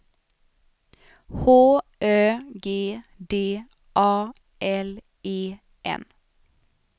H Ö G D A L E N